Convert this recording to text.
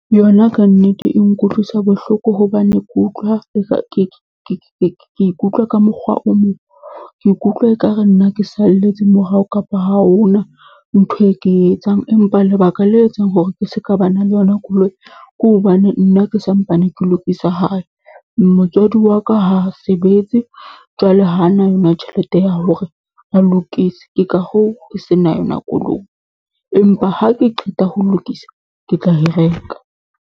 Yona kannete e nkutlwisa bohloko hobane ke utlwa e ka ke ikutlwa ka mokgwa o mong. Ke ikutlwa e ka re nna ke salletse morao, kapa ha hona ntho e ke e etsang. Empa lebaka le etsang hore ke se ka ba na le yona koloi, ke hobane nna ke sa mpane ke lokise hae. Motswadi wa ka ha a sebetse, jwale ha na tjhelete ya hore a lokise, ke ka hoo ke se na yona koloi. Empa ha ke qeta ho lokisa, ke tla e reka.